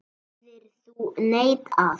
Hefðir þú neitað?